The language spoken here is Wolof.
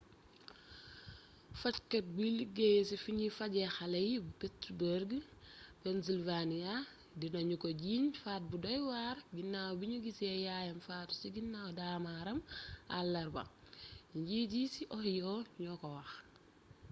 fajkat buy liggéey ci fiñuy fajee xalé yi bu pittsburgh pennsylvania dina ñu ko jiiñ faat bu doywar ginnaaw biñu gissé yaayam faatu ci ginnaw daamaaram alarba njiit yi ci ohio ñoo ko wax